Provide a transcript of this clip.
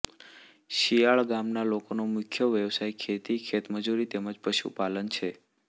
શિયાળ ગામના લોકોનો મુખ્ય વ્યવસાય ખેતી ખેતમજૂરી તેમ જ પશુપાલન છે